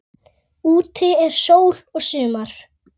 Úti er sól og sumar.